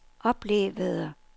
oplevede